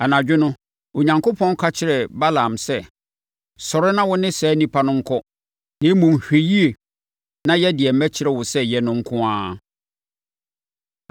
Anadwo no, Onyankopɔn ka kyerɛɛ Balaam sɛ, “Sɔre na wo ne saa nnipa no nkɔ na mmom, hwɛ yie na yɛ deɛ mɛkyerɛ wo sɛ yɛ no nko ara.”